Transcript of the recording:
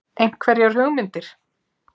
Einhverjar hugmyndir?